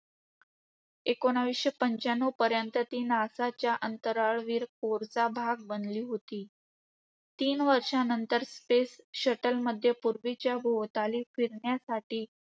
एकोणीसशे पंच्याण्णवपर्यंत, ती नासाच्या अंतराळवीर core चा भाग बनली होती. तीन वर्षांनंतर, space shuttle मध्ये पृथ्वीच्या भोवताली फिरण्यासाठी